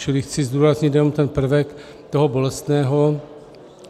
Čili chci zdůraznit jenom ten prvek toho bolestného.